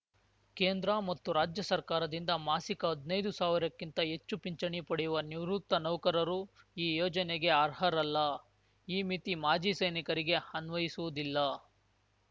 ಕೇಂದ್ರ ಮತ್ತು ರಾಜ್ಯ ಸರ್ಕಾರದಿಂದ ಮಾಸಿಕ ಹದ್ನೈದು ಸಾವಿರಕ್ಕಿಂತ ಹೆಚ್ಚು ಪಿಂಚಣಿ ಪಡೆಯುವ ನಿವೃತ್ತ ನೌಕರರು ಈ ಯೋಜನೆಗೆ ಅರ್ಹರಲ್ಲಈ ಮಿತಿ ಮಾಜಿ ಸೈನಿಕರಿಗೆ ಅನ್ವಯಿಸುವುದಿಲ್ಲ